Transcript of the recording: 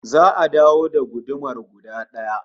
Za'a dawo da gudumar guda daya